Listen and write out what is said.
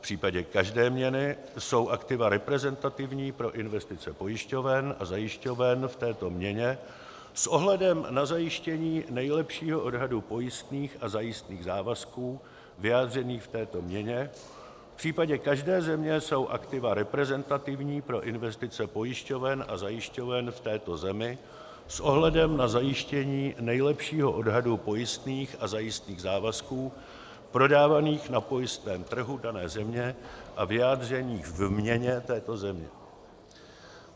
v případě každé měny jsou aktiva reprezentativní pro investice pojišťoven a zajišťoven v této měně s ohledem na zajištění nejlepšího odhadu pojistných a zajistných závazků vyjádřených v této měně; v případě každé země jsou aktiva reprezentativní pro investice pojišťoven a zajišťoven v této zemi s ohledem na zajištění nejlepšího odhadu pojistných a zajistných závazků prodávaných na pojistném trhu dané země a vyjádřených v měně této země;